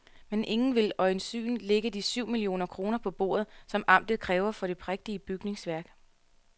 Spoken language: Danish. Men ingen vil øjensynligt lægge de syv millioner kroner på bordet, som amtet kræver for det prægtige bygningsværk.